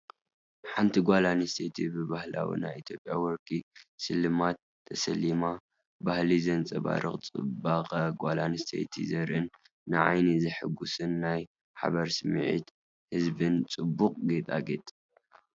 ሓንቲ ጓል ኣንስተይቲ ብባህላዊ ናይ ኢትዮጵያ ወርቂ ስልማት ተሰሊማ። ባህሊ ዘንጸባርቕን ጽባቐ ጓል ኣንስተይቲ ዘርኢን ንዓይኒ ዘሐጉስን ናይ ሓበን ስምዒት ዝህብን ጽቡቕ ጌጣጌጥ።